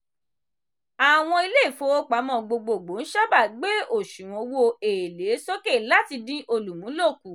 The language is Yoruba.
àwọn ilé ìfowópamọ́ gbogboogbò ńsáábà gbé òṣùwọ̀n owó-èlé sókè láti dín olùmúlò kù.